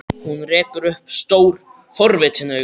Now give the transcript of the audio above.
Hún rekur upp stór, forvitin augu.